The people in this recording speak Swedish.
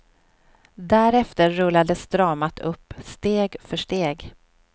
Därefter rullades dramat upp, steg för steg.